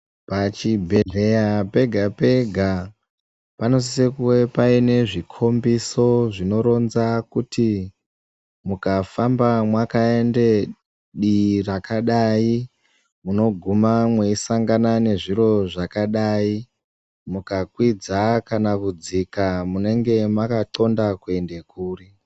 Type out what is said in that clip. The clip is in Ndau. Pachibhedhlera pega pega panosise kunge Paine zvikombiso zvinoronza kuti mwukafamba mwakaendee dii rakadai munoguma mweisangana nezviro zvakadai, mukakwidza kana kudzika munenge makanxonda kuende kuri.